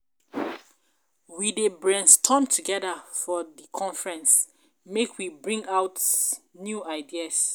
We dey brainstorm togeda for um di conference make we bring out um new ideas. um